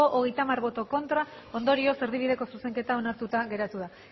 hogeita hamar ez ondorioz erdibideko zuzenketa onartuta geratu da